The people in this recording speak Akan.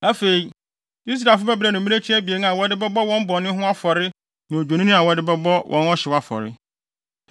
Afei, Israelfo bɛbrɛ no mmirekyi abien a wɔde bɛbɔ wɔn bɔne ho afɔre ne odwennini a wɔde bɛbɔ wɔn ɔhyew afɔre.